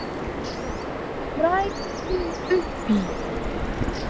Hrærðu upp í!